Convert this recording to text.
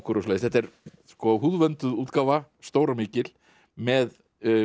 og svoleiðis þetta er húðvönduð útgáfa stór og mikil með